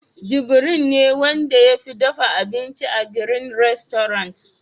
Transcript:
Jibiril ne Wanda ya fi dafa abinci a "green restaurant"